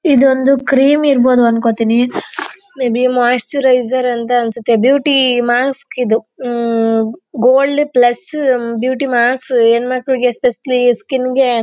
ಇದು ಒಂದು ಕ್ರೀಮ್ ಇರ್ಬಹುದು ಅನ್ಕೊಂತೀನಿ ಮೇಬಿ ಮೊಯಿಸ್ಚರೀಜಿರ್ ಅಂತ ಅನ್ಸುತ್ತೆ ಬ್ಯೂಟಿ ಮಾಸ್ಕ ಇದು ಗೋಲ್ಡ್ ಪ್ಲಸ್ ಬ್ಯೂಟಿ ಮಾಸ್ಕ ಹೆಣ್ಣುಮಕ್ಕಳಿಗೆ ಇಸ್ಪೇಷೇಲೇ ಸ್ಕಿನ್ ಗೆ--